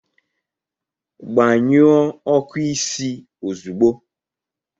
Gbanyụọ ọkụ isi ozugbo!